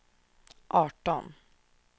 arton